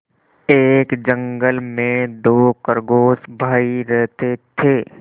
एक जंगल में दो खरगोश भाई रहते थे